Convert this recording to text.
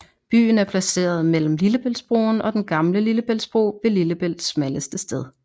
Byen er placeret mellem Lillebæltsbroen og Den gamle Lillebæltsbro ved Lillebælts smalleste sted